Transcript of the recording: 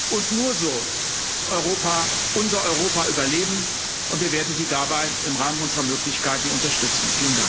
Und nur so wird Europa, unser Europa, überleben, und wir werden Sie dabei im Rahmen unserer Möglichkeiten unterstützen.